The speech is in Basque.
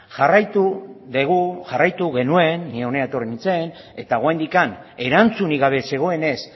jarraitu dugu jarraitu genuen ni hona etorri nintzen eta oraindik erantzunik gabe zegoenez